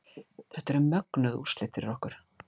Þetta eru mögnuð úrslit fyrir okkur